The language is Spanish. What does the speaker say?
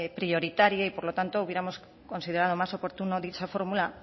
prioritaria y por lo tanto hubiéramos considerado más oportuno dicha fórmula